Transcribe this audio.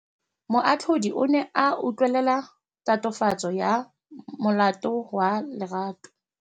Moatlhodi o ne a utlwelela tatofatsô ya molato wa Lerato.